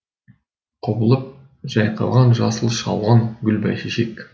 құбылып жайқалған жасыл шалғын гүл бәйшешек